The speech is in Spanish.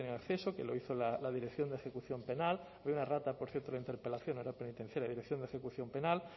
acceso que lo hizo la dirección de ejecución penal hay una errata por cierto en la interpelación no era penitenciaria dirección de ejecución penal